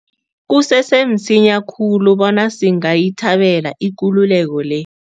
Kusese msinya khulu bona singayithabela ikululeko le.